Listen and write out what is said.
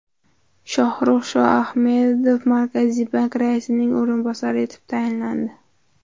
Shohrux Shoahmedov Markaziy bank raisining o‘rinbosari etib tayinlandi.